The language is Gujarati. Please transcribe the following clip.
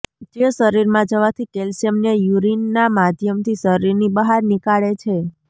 જે શરીરમાં જવાથી કેલ્શિયમને યૂરીનના માધ્યમથી શરીરની બહાર નીકાળે છે